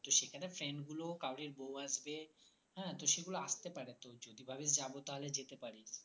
তো সেখানে friend গুলো তাদের বৌ আসবে হ্যাঁ তো সেগুলো আসতে পারে তুই যদি ভাবিস যাবো তাহলে যেতে পারিস